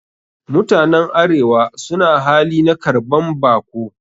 Mutanen arewa suna hali na karban bako